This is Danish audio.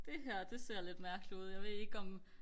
det her det ser lidt mærkeligt ud jeg ved ikke om